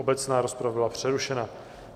Obecná rozprava byla přerušena.